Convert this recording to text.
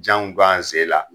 Janw b'an sen la.